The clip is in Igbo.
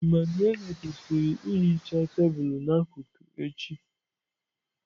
Emmanuelle kwesịrị ihicha tebụl n'akụkụ echi.